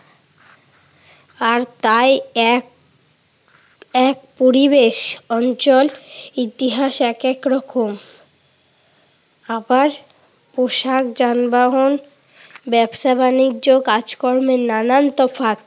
আর তাই এক এক পরিবেশ অঞ্চল ইতিহাস এক এক রকম। আবার পোষাক, যানবাহন, ব্যবসা-বাণিজ্য, কাজ-কর্মে নানান তফাৎ।